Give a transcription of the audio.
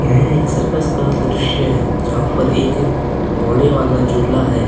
यहाँ एक सर्कस का दृश्य हैं जहां पर एक घोड़े वाला जोला हैं।